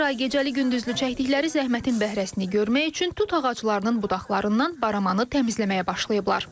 Bir ay gecəli-gündüzlü çəkdikləri zəhmətin bəhrəsini görmək üçün tut ağaclarının budaqlarından baramanı təmizləməyə başlayıblar.